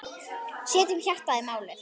Setjum hjartað í málið.